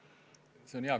Küsimuse aeg on läbi.